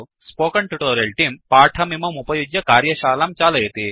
spoken tutorial तेऽं पाठमिममुपयुज्य कार्यशालां चालयति